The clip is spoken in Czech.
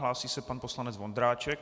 Hlásí se pan poslanec Vondráček.